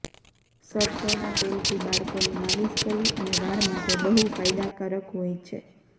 સરસો ના તેલ થી બાળકો ની માલીશ કરવી અને વાળ માટે બહુ ફાયદાકારક હોય છે